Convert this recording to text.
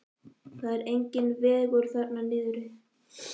Það er enginn vegur þarna niðri.